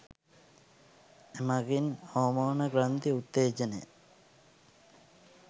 එමගින් හෝමෝන ග්‍රන්ථි උත්තේජනය